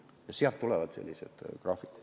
Ja sealt tulevad sellised graafikud.